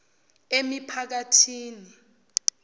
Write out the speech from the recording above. emiphakathini